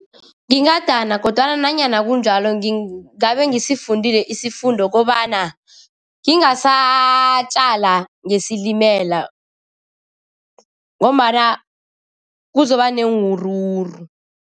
Ngingadana kodwana nanyana kunjalo ngingabe ngisifundile isifundo kobana ngingasatjala ngesilimela ngombana kuzoba neenwuruwuru.